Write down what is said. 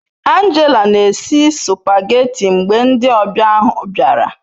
Angela n'esi supageti mgbe ndi obia ahu biara